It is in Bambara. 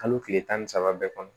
Kalo tile tan ni saba bɛɛ kɔnɔ